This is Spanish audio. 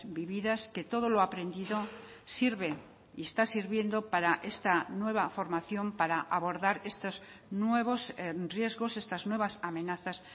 vividas que todo lo aprendido sirve y está sirviendo para esta nueva formación para abordar estos nuevos riesgos estas nuevas amenazas